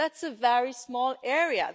That's a very small area.